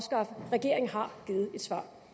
som